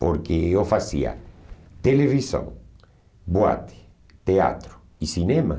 Porque eu fazia televisão, boate, teatro e cinema.